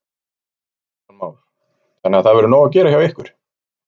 Kristján Már: Þannig að það verður nóg að gera hjá ykkur?